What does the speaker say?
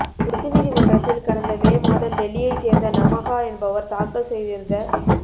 உச்சநீதிமன்றத்தில் கடந்த மே மாதம் டெல்லியைச் சேர்ந்த நமஹா என்பவர் தாக்கல் செய்திருந்த